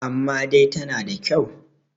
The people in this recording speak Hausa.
amma dai tana da kyau